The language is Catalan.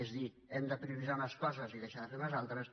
és a dir hem de prioritzar unes coses i deixar de fer ne unes altres